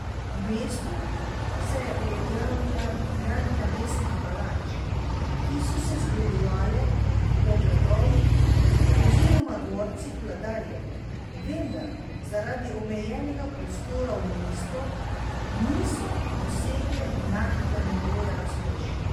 V mestu se je uveljavila gradnja mestnih palač, ki so se zgledovale po gradovih oziroma dvorcih vladarjev, vendar zaradi omejenega prostora v mestu niso dosegle enakega nivoja razkošja.